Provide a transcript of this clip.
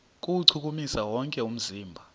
kuwuchukumisa wonke umzimba